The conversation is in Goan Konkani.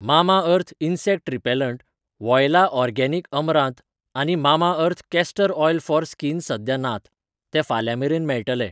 Mamaearth insect repellent, Voila organic अमरांत आनी Mamaearth castor oil for skin सद्या नात, तें फाल्यां मेरेन मेळटलें.